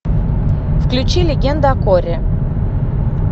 включи легенда о корре